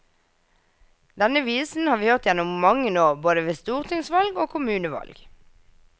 Denne visen har vi hørt gjennom mange år både ved stortingsvalg og kommunevalg.